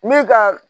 Min ka